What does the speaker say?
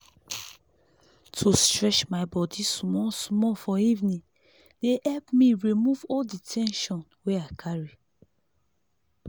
to stretch my body small-small for evening dey help me remove all the ten sion wey i carry.